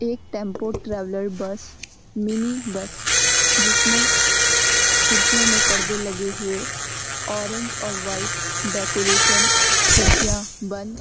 एक tempo traveller bus mini bus जिसमें खिड़कियों में परदे लगे हुए ऑरेंज और व्हाइट डेकोरशन खिड़कियां बंद --